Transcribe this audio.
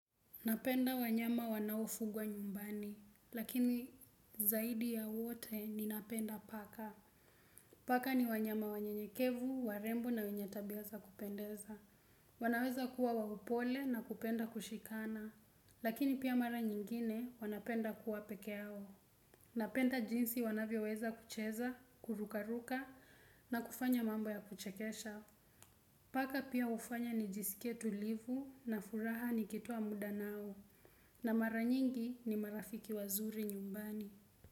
Napenda wanyama wanao fugwa nyumbani lakini zaidi ya wote ninapenda paka paka ni wanyama wanyenyekevu warembo na wenye tabia za kupendeza. Wanaweza kuwa wapole na kupenda kushikana, lakini pia mara nyingine wanapenda kuwa peke yao. Napenda jinsi wanavyo weza kucheza, kurukaruka na kufanya mambo ya kuchekesha. Paka pia hufanya nijisikie tulivu na furaha nikitoa muda nao na mara nyingi ni marafiki wazuri nyumbani.